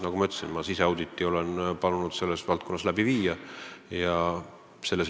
Nagu ma ütlesin, olen palunud teha selles valdkonnas siseauditi.